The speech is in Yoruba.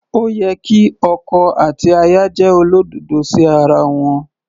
Ó yẹ kí ọkọ àti aya jẹ́ olódodo sí ara wọn.